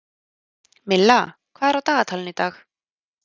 Milla, hvað er á dagatalinu í dag?